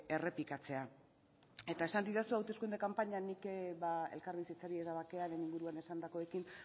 errepikatzea esan didazu hauteskunde kanpainan elkarbizitzaren erabakiari inguruan esandakoekin